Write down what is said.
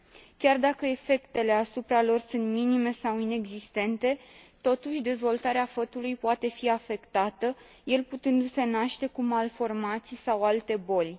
Chiar dacă efectele asupra lor sunt minime sau inexistente, totuși, dezvoltarea fătului poate fi afectată, el putându se naște cu malformații sau alte boli.